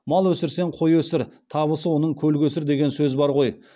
мал өсірсең қой өсір табысы оның көл көсір деген сөз бар ғой